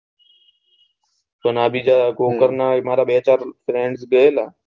મારા બે ચાર friends ગયેલા